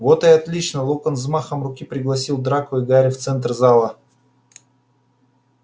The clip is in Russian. вот и отлично локонс взмахом руки пригласил драко и гарри в центр зала